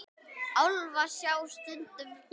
Álfa sjá stundum konur.